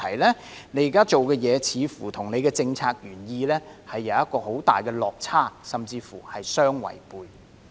他現時做的工作似乎與政策原意有很大的落差，甚至乎是相違背。